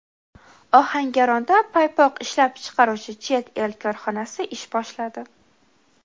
Ohangaronda paypoq ishlab chiqaruvchi chet el korxonasi ish boshladi.